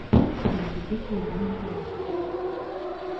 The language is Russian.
привези килограмм макарон